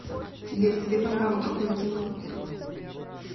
сбер тебе по нраву какое кино